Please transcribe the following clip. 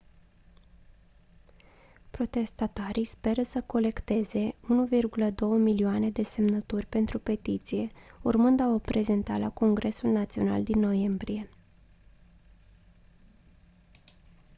protestatarii speră să colecteze 1,2 milioane de semnături pentru petiție urmând a o prezenta la congresul național din noiembrie